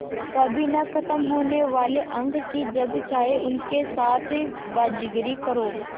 कभी न ख़त्म होने वाले अंक कि जब चाहे उनके साथ बाज़ीगरी करो